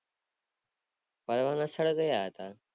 ફરવા ના સ્થળ ક્યાં હતા